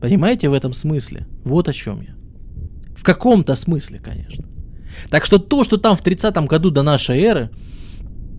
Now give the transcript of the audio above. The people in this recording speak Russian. понимаете в этом смысле вот о чём я в каком-то смысле конечно так что то что там в тридцатом году до нашей эры